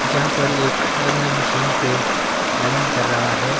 यहां पर एक रनर मशीन पे रनिंग कर रहा है।